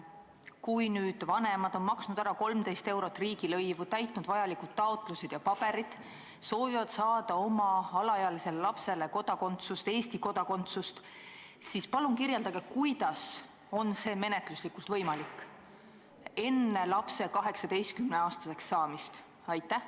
Kui vanemad on maksnud ära 13 eurot riigilõivu, täitnud vajalikud taotlused ja paberid, soovides saada oma alaealisele lapsele Eesti kodakondsust, siis palun kirjeldage, kuidas on see menetluslikult võimalik enne lapse 18-aastaseks saamist?